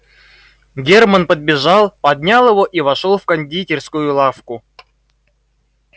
германн подбежал поднял его и вошёл в кондитерскую лавку